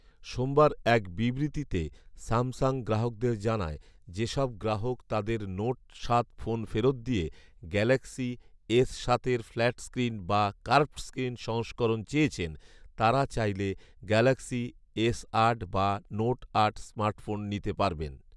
সোমবার এক বিবৃতিতে স্যামসাং গ্রাহকদের জানায়, যেসব গ্রাহক তাঁদের নোট সাত ফোন ফেরত দিয়ে গ্যালাক্সি এস সাত এর ফ্ল্যাট স্ক্রিন বা কার্ভড স্ক্রিন সংস্করণ চেয়েছেন, তাঁরা চাইলে গ্যালক্সি এস আট বা নোট আট স্মার্টফোন নিতে পারবেন